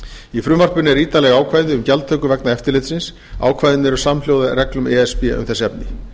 í frumvarpinu eru ítarleg ákvæði um gjaldtöku vegna eftirlitsins ákvæðin eru samhljóða reglum e s b um þessi efni